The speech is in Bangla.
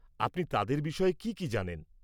আপনি তাঁদের বিষয়ে কি কি জানেন?